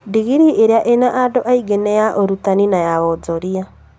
Ndingirii iria ina andũ arĩa aingĩ nĩ ya ũrutani na ya wonjoria